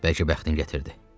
Bəlkə bəxtin gətirdi.